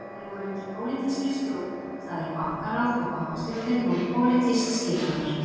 Þeir voru undir pólitískri stjórn, það er bankaráð og bankastjórnir voru pólitískt skipaðar.